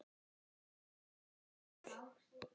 Marta kinkaði kolli.